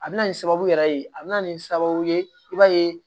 A bɛna nin sababu yɛrɛ ye a bɛna nin sababu ye i b'a ye